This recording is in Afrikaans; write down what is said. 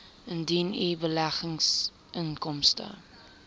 indien u beleggingsinkomste